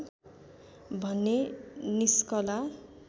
भन्ने निस्कला